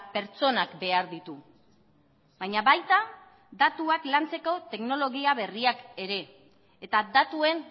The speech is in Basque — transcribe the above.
pertsonak behar ditu baina baita datuak lantzeko teknologia berriak ere eta datuen